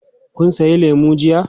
Kun sayi lemu jiya.